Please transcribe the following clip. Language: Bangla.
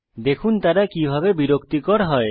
দেখুন তারা কিভাবে বিরক্তিকর হয়